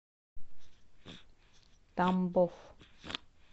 тамбов